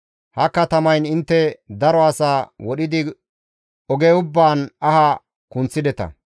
Ha katamayn intte daro asa wodhidi oge ubbaan aha kunththideta.